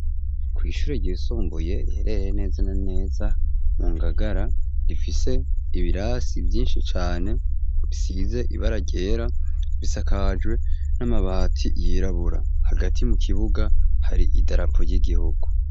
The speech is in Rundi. Kw'ishuri ryisumbuye riherereye neza na neza mu ngagara rifise ibirasi vyinshi cane bisize ibara ryera bisakajwe n'amabati yirabura hagati mu kibuga hari idarapo ry'igihugu.